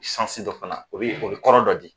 dɔ fana o bi yen o bi kɔrɔ dɔ di.